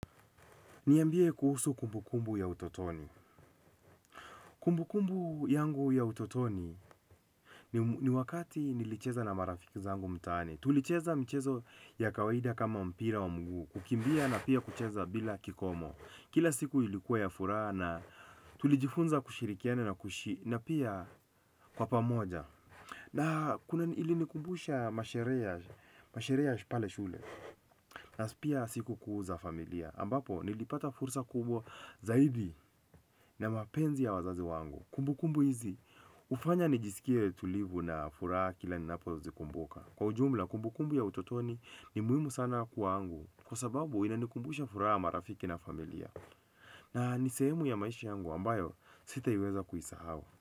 Niambie kuhusu kumbu kumbu ya utotoni. Kumbu kumbu yangu ya utotoni ni wakati nilicheza na marafiki zangu mtaani. Tulicheza michezo ya kawaida kama mpira wa mguu. Kukimbia na pia kucheza bila kikomo. Kila siku ilikuwa ya furaha na tulijifunza kushirikiana na kuishi na pia kwa pamoja. Na kuna ilinikumbusha masherehe ya masherehe ya pale shule. Na pia sikukuu za familia. Ambapo nilipata fursa kubwa zaidi na mapenzi ya wazazi wangu. Kumbu kumbu hizi hufanya nijisikie tulivu na furaha kila ninapo zikumbuka kwa ujumla kumbu kumbu ya utotoni ni muhimu sana kwangu. Kwa sababu inanikumbusha furaha, marafiki na familia na ni sehemu ya maisha yangu ambayo sitaiweza kuisahau.